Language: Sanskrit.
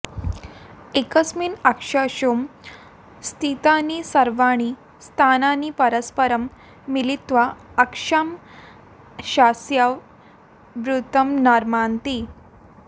एकस्मिन् अक्षांशे स्थितानि सर्वाणि स्थानानि परस्परं मिलित्वा अक्षांशस्य वृत्तं निर्मान्ति